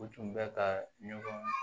U tun bɛ ka ɲɔgɔn